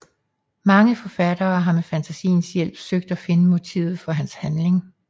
Mange forfattere har med fantasiens hjælp søgt at finde motivet for hans handling